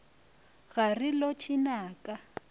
ga re lotšhe na ka